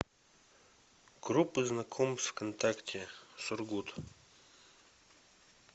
группы знакомств вконтакте сургут